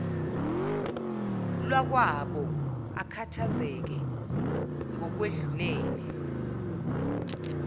lwakwabo akhathazeke ngokwedlulele